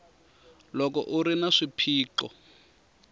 loko u ri na swiphiqo